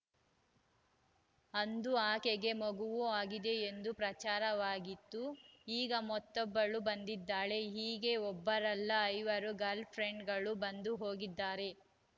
ಅಂದು ಆಕೆಗೆ ಮಗುವೂ ಆಗಿದೆ ಎಂದೂ ಪ್ರಚಾರವಾಗಿತ್ತು ಈಗ ಮತ್ತೊಬ್ಬಳು ಬಂದಿದ್ದಾಳೆ ಹೀಗೆ ಒಬ್ಬರಲ್ಲ ಐವರು ಗಲ್‌ರ್‍ಫ್ರೆಂಡ್‌ಗಳು ಬಂದು ಹೋಗಿದ್ದಾರೆ